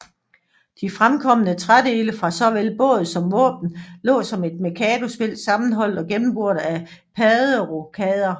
De fremkomne trædele fra såvel båd som våben lå som et mikadospil sammenholdt og gennemboret af padderokrødder